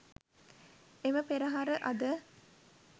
එම පෙරහර අද